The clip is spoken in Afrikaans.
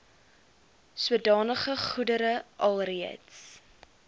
sodanige goedere alreeds